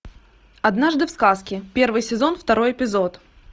однажды в сказке первый сезон второй эпизод